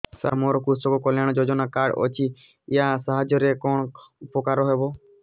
ସାର ମୋର କୃଷକ କଲ୍ୟାଣ ଯୋଜନା କାର୍ଡ ଅଛି ୟା ସାହାଯ୍ୟ ରେ କଣ ଉପକାର ହେବ